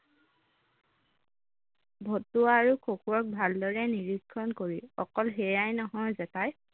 ভতুৱা আৰু খকুৱাক ভালদৰে নীৰিক্ষণ কৰি অকল সেয়াই নহয় জেঠাই